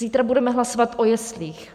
Zítra budeme hlasovat o jeslích.